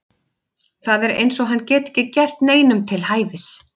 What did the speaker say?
Það er eins og hann geti ekki gert neinum til hæfis.